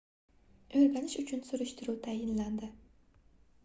oʻrganish uchun surishtiruv tayinlandi